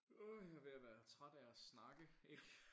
Åh jeg er ved at være træt af at snakke ikke